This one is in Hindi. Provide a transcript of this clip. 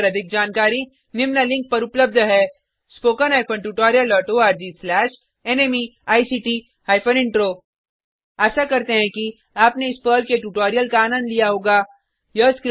इस मिशन पर अधिक जानकारी निम्न लिंक पर उपलब्ध है httpspoken tutorialorgNMEICT Intro आशा करते हैं कि आपने इस पर्ल के ट्यूटोरियल का आनंद लिया होगा